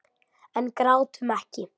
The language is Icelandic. En grátum ekki.